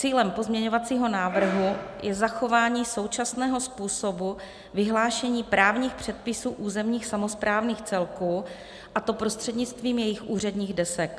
Cílem pozměňovacího návrhu je zachování současného způsobu vyhlášení právních předpisů územních samosprávných celků, a to prostřednictvím jejich úředních desek.